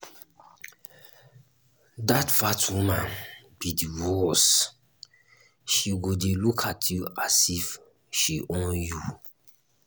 dat fat woman be the worse she go dey look at you as if she own you.